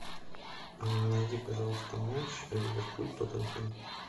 найди пожалуйста матч ливерпуль тоттенхэм